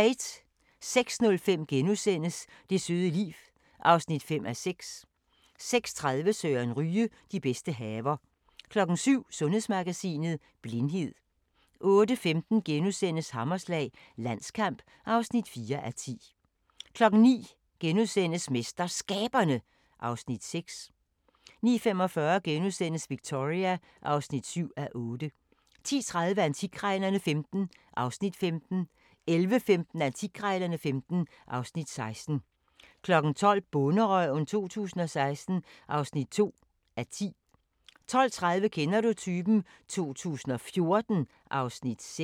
06:05: Det søde liv (5:6)* 06:30: Søren Ryge: De bedste haver 07:00: Sundhedsmagasinet: Blindhed 08:15: Hammerslag – Landskamp (4:10)* 09:00: MesterSkaberne (Afs. 6)* 09:45: Victoria (7:8)* 10:30: Antikkrejlerne XV (Afs. 15) 11:15: Antikkrejlerne XV (Afs. 16) 12:00: Bonderøven 2016 (2:10) 12:30: Kender du typen? 2014 (Afs. 6)